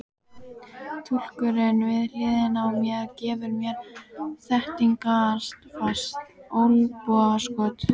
Túlkurinn við hliðina á mér gefur mér þéttingsfast olnbogaskot.